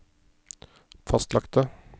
fastlagte